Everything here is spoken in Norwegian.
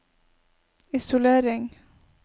isolering